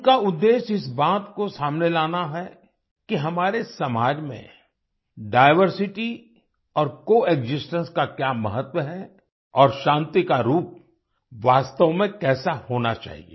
उनका उद्देश्य इस बात को सामने लाना है कि हमारे समाज में डाइवर्सिटी और कोएक्सिस्टेंस का क्या महत्व है और शांति का रूप वास्तव में कैसा होना चाहिए